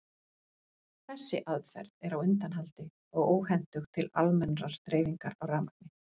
Þessi aðferð er á undanhaldi og óhentug til almennrar dreifingar á rafmagni.